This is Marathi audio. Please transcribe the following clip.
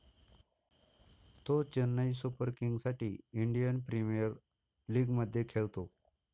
तो चेन्नई सुपर किंगसाठी इंडियन प्रीमियर लिगमध्ये खेळतो.